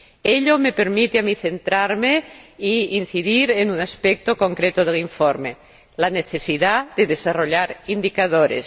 Ello me permite a mí centrarme e incidir en un aspecto concreto del informe la necesidad de desarrollar indicadores.